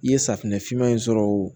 I ye safunɛ finman in sɔrɔ o